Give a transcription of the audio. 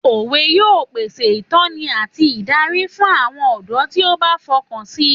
Òwe yóò pèsè ìtọ́ni àti ìdarí fún àwọn ọ̀dọ́ tí ó bá fi ọkàn si